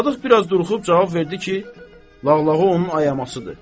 Sadıq biraz duruxub cavab verdi ki, lağlağı onun ayamasıdır.